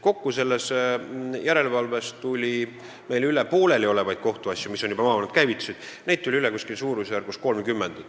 Kokku tuli meile selle järelevalvega seoses üle pooleliolevaid kohtuasju, mis olid käivitunud juba maavalitsustes, ligi 30.